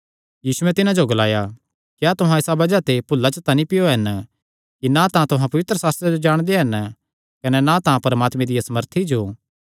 यीशुयैं तिन्हां नैं ग्लाया क्या तुहां इसा बज़ाह ते भुल्ला च तां नीं पैयो हन कि ना तां तुहां पवित्रशास्त्रे जो जाणदे हन कने ना तां परमात्मे दिया सामर्था जो